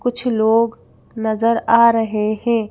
कुछ लोग नजर आ रहे हैं।